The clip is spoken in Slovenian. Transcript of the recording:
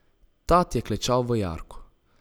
Tat je klečal v jarku.